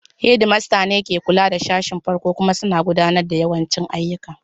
Head Master ne ke kula da sashin farko kuma suna gudanar da yawancin ayyuka.